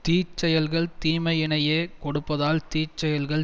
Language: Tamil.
தீ செயல்கள் தீமையினையே கொடுப்பதால் தீ செயல்கள்